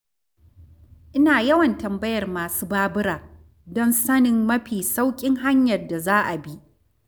Ina yawan tambayar masu babura don sanin mafi sauƙin hanyar da za a bi.